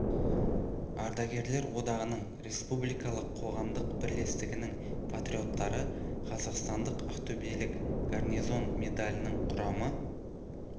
ардагерлер одағының республикалық қоғамдық бірлестігінің патриоттары қазақстандық ақтөбелік гарнизон медалінің құрамы